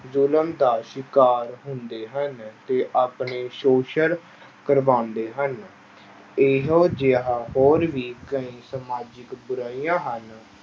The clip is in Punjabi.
ਜ਼ੁਲਮ ਦਾ ਸ਼ਿਕਾਰ ਹੁੰਦੇ ਹਨ ਤੇ ਆਪਣੇ ਸ਼ੋਸ਼ਨ ਕਰਵਾਉਂਦੇ ਹਨ, ਇਹੋ ਜਿਹਾ ਹੋਰ ਵੀ ਕਈ ਸਮਾਜਿਕ ਬੁਰਾਈਆਂ ਹਨ।